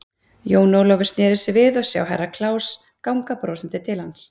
Jón Ólafur sneri sér við og sá Herra Kláus ganga brosandi til hans.